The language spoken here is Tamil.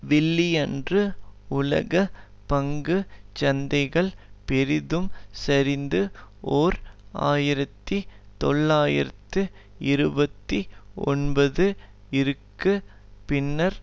வெள்ளியன்று உலக பங்கு சந்தைகள் பெரிதும் சரிந்து ஓர் ஆயிரத்தி தொள்ளாயிரத்து இருபத்தி ஒன்பது இற்கு பின்னர்